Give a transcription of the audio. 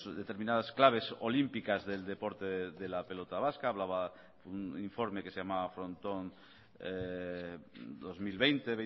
determinadas claves olímpicas del deporte de la pelota vasca hablaba un informe que se llamaba frontón dos mil veinte